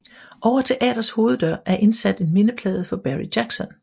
Over teatrets hoveddør er indsat en mindeplade for Barry Jackson